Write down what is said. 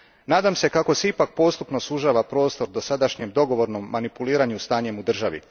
Nadam se kako se ipak postupno sužava prostor dosadašnjem dogovornom manipuliranju stanjem u državi.